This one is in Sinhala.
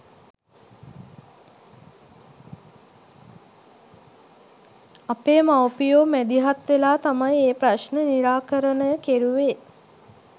අපේ මවුපියෝ මැදිහත් වෙලා තමයි ඒ ප්‍රශ්න නිරාකරණය කෙරුවේ.